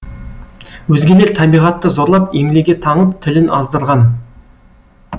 өзгелер табиғатты зорлап емлеге таңып тілін аздырған